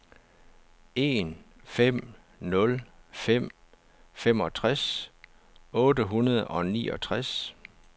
en fem nul fem femogtres otte hundrede og niogtres